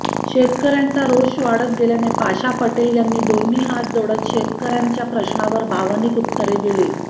शेतकर्यांचा रोष वाढत गेल्याने पाशा पटेल यांनी दोन्ही हात जोडत शेतकर्यांच्या प्रश्नांवर भावनिक उत्तरे दिली